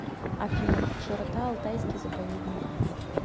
афина широта алтайский заповедник